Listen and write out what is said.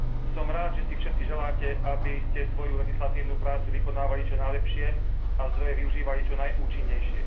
Som rád, že si všetci želáte, aby ste svoju legislatívnu prácu vykonávali čo najlepšie a zdroje využívali čo najúčinnejšie.